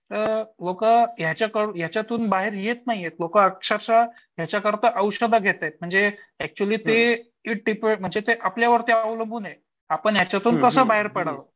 ते लोकं याच्यातून बाहेर येत नाहीयेत लोकं अक्षरशः त्याच्याकरता औषध घेतायेत म्हणजे आपल्यावरती अवलंबून आहेत आपण याच्यातून कसं बाहेर पडावं?